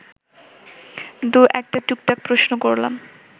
দু-একটা টুকটাক প্রশ্ন করলাম